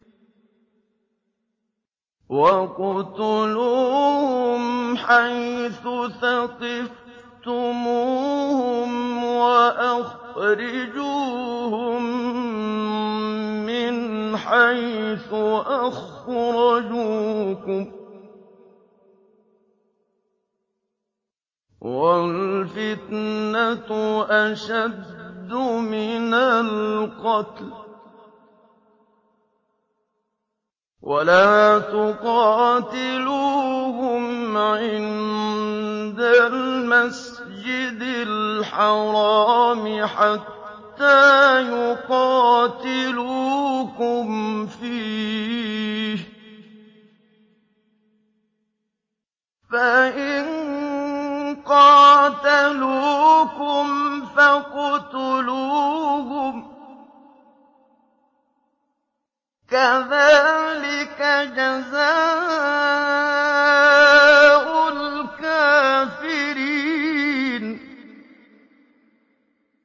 وَاقْتُلُوهُمْ حَيْثُ ثَقِفْتُمُوهُمْ وَأَخْرِجُوهُم مِّنْ حَيْثُ أَخْرَجُوكُمْ ۚ وَالْفِتْنَةُ أَشَدُّ مِنَ الْقَتْلِ ۚ وَلَا تُقَاتِلُوهُمْ عِندَ الْمَسْجِدِ الْحَرَامِ حَتَّىٰ يُقَاتِلُوكُمْ فِيهِ ۖ فَإِن قَاتَلُوكُمْ فَاقْتُلُوهُمْ ۗ كَذَٰلِكَ جَزَاءُ الْكَافِرِينَ